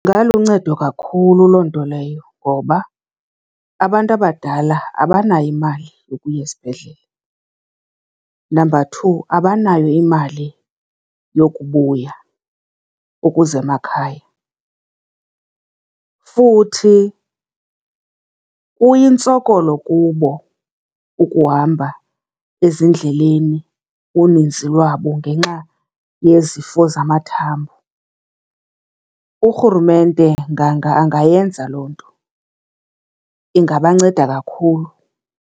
Ingaluncedo kakhulu loo nto leyo ngoba abantu abadala abanayo imali yokuya esibhedlele. Number two, abanayo imali yokubuya ukuza emakhaya, futhi kuyintsokolo kubo ukuhamba ezindleleni uninzi lwabo ngenxa yezifo zamathambo. Urhurumente nganga angayenza loo nto, ingabanceda kakhulu.